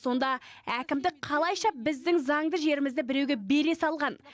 сонда әкімдік қалайша біздің заңды жерімізді біреуге бере салған